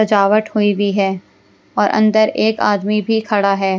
सजावट हुई हुई है और अंदर एक आदमी भी खड़ा है।